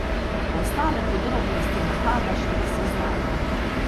Ostale podrobnosti napada še niso znane.